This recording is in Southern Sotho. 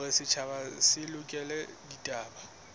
hore setjhaba se lekole ditaba